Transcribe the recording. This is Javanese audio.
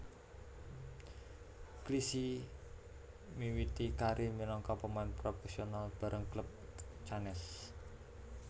Clichy miwiti karir minangka pemain profesional bareng klub Cannes